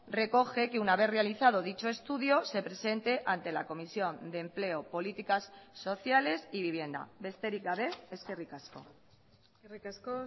recoge que una vez realizado dicho estudio se presente ante la comisión de empleo políticas sociales y vivienda besterik gabe eskerrik asko eskerrik asko